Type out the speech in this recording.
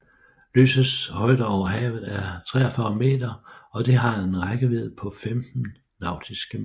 Lysets højde over havet er 43 meter og det har en rækkevidde på femten nautiske mil